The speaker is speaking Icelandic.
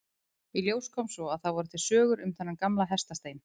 Í ljós kom svo að það voru til sögur um þennan gamla hestastein.